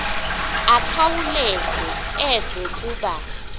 akhawuleze eve kuba